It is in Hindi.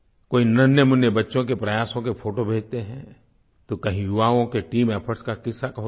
कोई नन्हेंमुन्ने बच्चों के प्रयासों के फोटो भेजते हैं तो कहीं युवाओं की टीम इफोर्ट्स का किस्सा होता है